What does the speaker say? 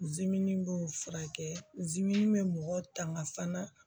b'o furakɛ bɛ mɔgɔ tanga fana